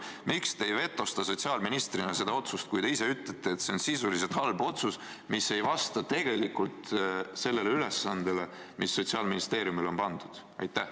Miks te ei vetosta sotsiaalministrina seda otsust, kui te ise ütlete, et see on sisuliselt halb otsus, mis ei vasta sellele ülesandele, mis Sotsiaalministeeriumile on pandud?